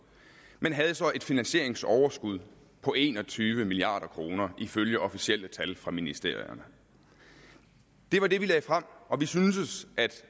men havde så et finansieringsoverskud på en og tyve milliard kroner ifølge officielle tal fra ministerierne det var det vi lagde frem og vi syntes at